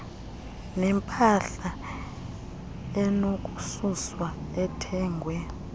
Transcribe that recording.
nempahla enokususwa ethengwe